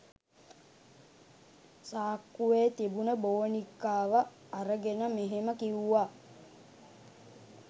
සාක්කුවේ තිබුණ බෝනික්කාව අරගෙන මෙහෙම කිව්වා.